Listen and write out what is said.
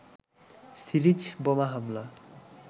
series বোমা হামলা